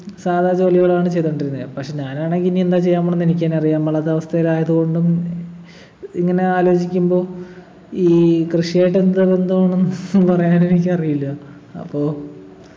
സാധാ ജോലികളാണ് ചെയ്തു കൊണ്ടിരുന്നെ പക്ഷേ ഞാൻ ആണെങ്കി ഇനി എന്താ ചെയ്യാൻ പോണേന്നു എനിക്ക് തന്നെ അറിയാൻ പാടില്ലാത്ത അവസ്ഥയിലായതുകൊണ്ടും ഇങ്ങനെ ആലോചിക്കുമ്പം ഈ കൃഷി ആയിട്ട് എന്ത് ബന്ധമാണ് ന്നു പറയാൻ എനിക്ക് അറിയില്ല അപ്പോ